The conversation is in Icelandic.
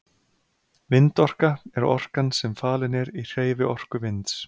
vindorka er orkan sem falin er í hreyfiorku vinds